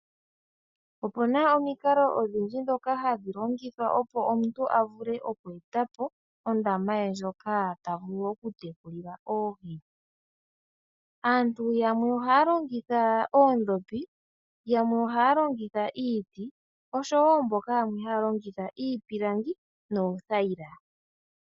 Opuna omikalo odhindji ndhoka hadhi longithwa opo omuntu avule okweetapo ondama ye ndjoka tavulu oku yi tekulila oohi, aantu yamwe ohaalongitha oondhopi, yamwe ohaalongitha iiti nosho woo yamwe haalongitha iipilangi noothayila.